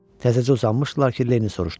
Təzəcə uzanmışdılar ki, Lenni soruşdu.